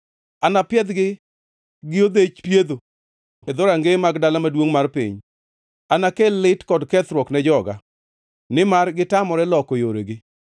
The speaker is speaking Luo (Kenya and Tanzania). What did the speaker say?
Anapiedhgi gi odhech pietho e dhorangeye mag dala maduongʼ mar piny. Anakel lit kod kethruok ne joga, nimar gitamore loko yoregi.